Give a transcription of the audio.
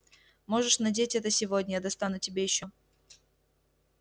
можешь надеть это сегодня я достану тебе ещё